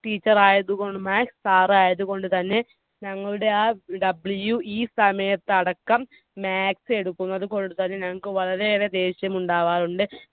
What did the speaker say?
teacher ആയതുകൊണ്ട് maths sir ആയതുകൊണ്ട് ഞങ്ങളുടെ WE സമയത്തടക്കം maths എടുക്കുന്നതുകൊണ്ട് തന്നെ ഞങ്ങൾക്ക് വളരെയേറെ ദേഷ്യം ഉണ്ടാവാറുണ്ട്.